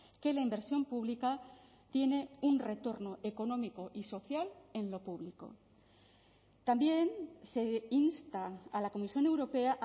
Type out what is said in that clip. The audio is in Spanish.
que la inversión pública tiene un retorno económico y social en lo público también se insta a la comisión europea